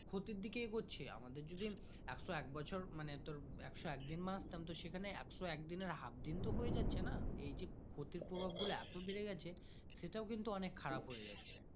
ক্ষিতির দিকে এগোচ্ছে আমাদের যেদিন একশো কে বছর মানে তোর একশো এক দিন বাঁচতাম তো সে খানে একশো একদিনের half দিন তো হয়ে যাচ্ছে না রি এ ক্ষতি পুরোক গুলো এত বেড়ে গাছে সেটাও কিন্তু অনেক খরিপ হয়েযাচ্ছে।